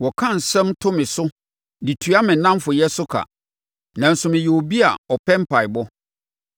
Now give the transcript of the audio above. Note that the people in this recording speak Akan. Wɔka nsɛm to me so de tua me nnamfoyɛ so ka, nanso meyɛ obi a ɔpɛ mpaeɛbɔ.